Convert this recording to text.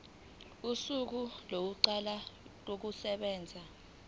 kosuku lokuqala kokusebenza